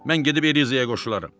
Mən gedib Elizaya qoşularam.